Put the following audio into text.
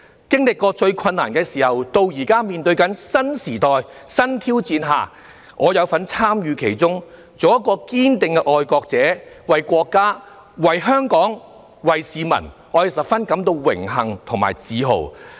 經歷過最困難的時候，直至現時面對新時代、新挑戰，我有份參與其中，做一位堅定的愛國者，為國家、為香港、為市民，我感到十分榮幸和自豪。